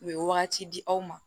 U ye wagati di aw ma